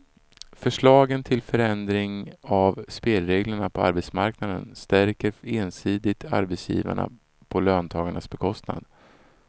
Förslagen till förändring av spelreglerna på arbetsmarknaden stärker ensidigt arbetsgivarna på löntagarnas bekostnad.